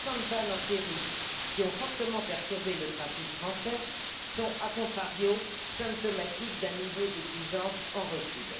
Les récentes pannes en série qui ont fortement perturbé le trafic français sont a contrario symptomatiques d'un niveau d'exigence en recul.